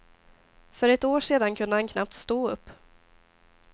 För ett år sedan kunde han knappt stå upp.